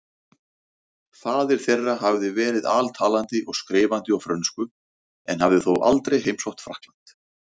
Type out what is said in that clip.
Faðir þeirra hafði verið altalandi og skrifandi á frönsku en hafði þó aldrei heimsótt Frakkland.